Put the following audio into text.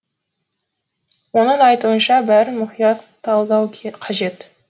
оның айтуынша бәрін мұқият талдау қажет